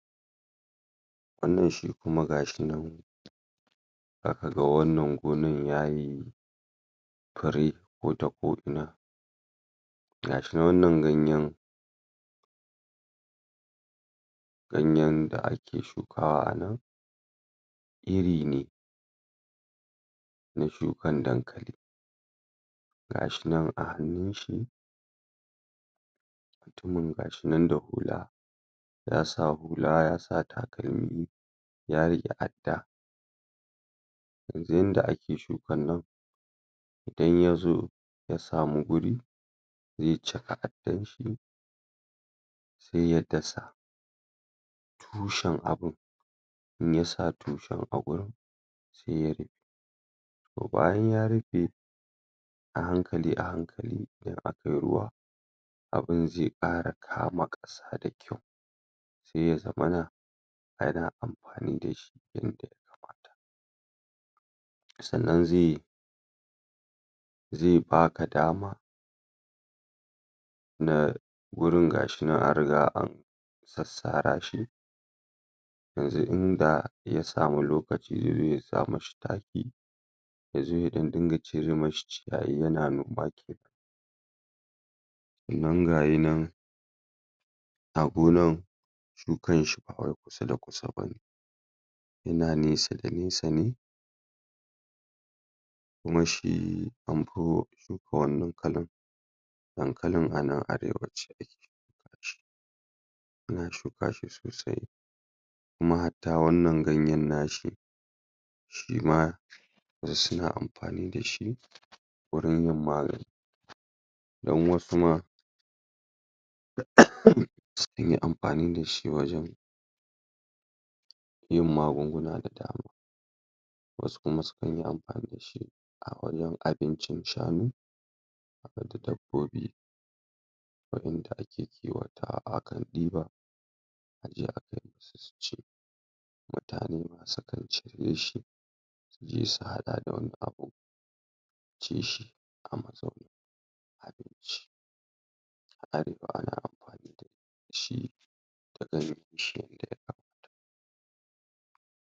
Wanna shi kuma gashinan zakaga wannan gonan yayi fure ko ta ko ina gashi wannan ganyan ganyen da ake shukawa nan iri ne na shukan dankali gashi nan a hannun shi mutumin ga shi nan da hula ya sa hula yasa takalmi ya rike adda yanzu yanda ake shuakan nan idan yazo ya samu guri zai chaka addarshi sai ya dasa tushen abun in yasa tushen a gurin sai ya bayan ya rufe a hankali a hankali idan akayi ruwa abin zai kara kama kasa da kyau sai ya zamana ana amfani dashi sanna zai zai baka dama na gurin gashi nan an riga da an sassara shi yanzu inda ya sama lokaci zaizo ya sa mashi taki zai zo ya ɗan dinga cire mai ciyayi yana nan gayi nan a gonan shukanshi ba kusa da kusa bane yana nesa da nesa ne kuma shi anfi shuka wannan dankalin dankalin ana arewaci ana shuka shi sosai kuma hatta wanna ganyen nashi shima suna amfani dashi wurin yin magani dan wasu ma suna amfani dashi wajen yin magunguna da dama wasu kuma sukan yi amfani dashi a wajen abincin shanu haɗe da dabbobi waɗanda ake kiwonsu. Akan ɗiba aje akai musu suci mutane masu sai su haɗa da wani abu su ci shi a matsayin abinci a arewa ana shi da